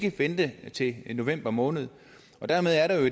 at vente til november måned deri er der jo